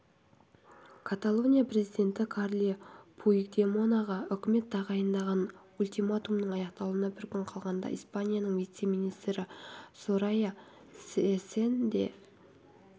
каталония президенті карле пуигдемонаға үкімет тағайындаған ультиматумның аяқталуына бір күн қалғанда испанияның вице-премьері сорайя сэцен де